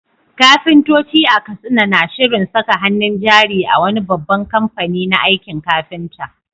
Kafintoci a Katsina na shirin saka hannun jari a wani babban kamfani na aikin kafinta.